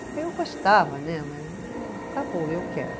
Aí eu gostava né, mas está bom, eu quero.